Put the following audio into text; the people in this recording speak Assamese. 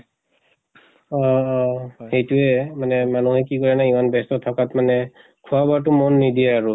অহ অহ সেইটোয়ে। মানিহে কি কাৰণে ইমান ব্য়স্ত থকাত মানে খোৱা বোৱাতো মন নিদিয়ে আৰু।